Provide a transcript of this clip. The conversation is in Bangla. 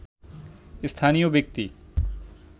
স্থানীয় ব্যক্তি